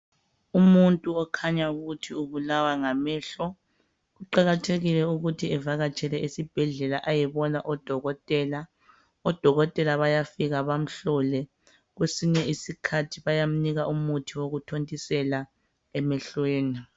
Umuntu okhanya ukuthi ubulawa ngamehlo kuqakathekile ukuthi evakatshele esibhedlela ayebona odokotela. Odokotela bayafika bamhlole. Kwesinye isikhathi bayamnika umuthi wokuthontisela emehlweni.